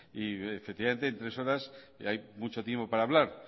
y efectivamente en tres horas hay mucho tiempo para hablar